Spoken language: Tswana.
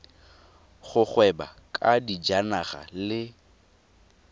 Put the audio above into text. go gweba ka dijanaga le